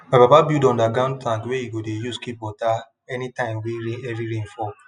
my papa build underground tank wey e go dey use keep water any time wey heavy rain fall